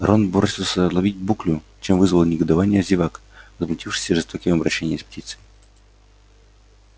рон бросился ловить буклю чем вызвал негодование зевак возмутившихся жестоким обращением с птицей